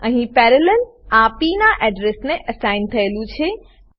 અહીં parallel parallel આ પ નાં એડ્રેસને એસાઇન થયેલું છે